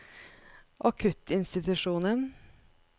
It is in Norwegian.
akuttinstitusjonen